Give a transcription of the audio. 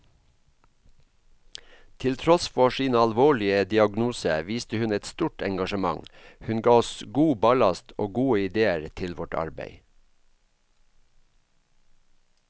Til tross for sin alvorlige diagnose viste hun et stort engasjement, hun ga oss god ballast og gode idéer til vårt arbeid.